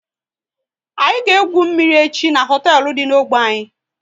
Anyị ga egwu mmiri echi n'hoteelu dị n'ogbe anyị